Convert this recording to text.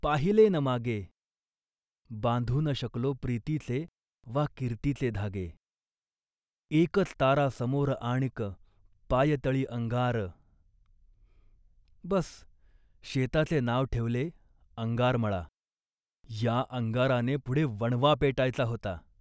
पदोपदी पसरून निखारे, आपुल्याच हाती होवूनिया बेहोश धावलो, ध्येयपथावरती कधी न थांबलो विश्रांतीस्तव, पाहिले न मागे बांधू न शकलो प्रीतीचे वा कीर्तीचे धागे एकच तारा समोर आणिक, पायतळी अंगार. बस शेताचे नाव ठेवले 'अंगारमळा', या अंगाराने पुढे वणवा पेटायचा होता